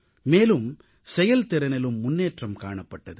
மேலும் செயல்திறனிலும் முன்னேற்றம் காணப்பட்டது